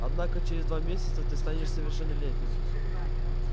однако через два месяца ты станешь совершеннолетним